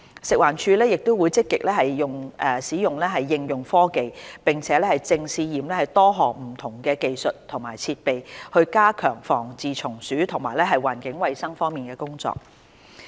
食物環境衞生署會積極應用科技，並正試驗多項不同技術及設備，加強防治蟲鼠及環境衞生方面的工作。